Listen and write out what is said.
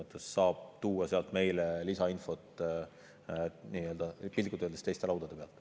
Ta saab tuua sealt meile lisainfot piltlikult öeldes teiste laudade pealt.